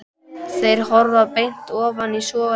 Þeir horfa beint ofan í sogandi sjóinn.